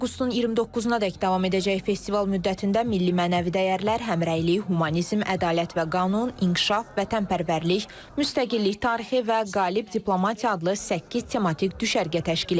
Avqustun 29-nə dək davam edəcək festival müddətində milli mənəvi dəyərlər, həmrəylik, humanizm, ədalət və qanun, inkişaf, vətənpərvərlik, müstəqillik, tarixi və qalib diplomatiya adlı səkkiz tematik düşərgə təşkil ediləcək.